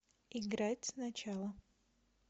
играть сначала